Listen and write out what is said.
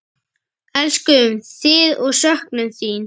Elskum þig og söknum þín.